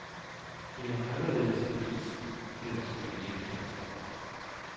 Det er en anderledes avis, ellers vil vi ikke have en chance.